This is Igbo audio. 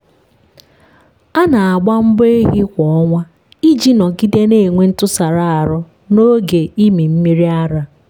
a na-agba mbọ ehi kwa ọnwa iji nọgide na-enwe ntụsara ahụ n'oge ịmị mmiri ara.